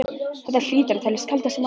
Þetta hlýtur að teljast kaldasti maí